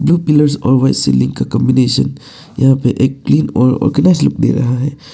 Blue pillars और white ceiling का combination यहां पर एक क्लीन और ऑर्गेनाइज लूक दे रहा है।